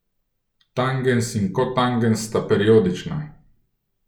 Tangens in kotangens sta periodična.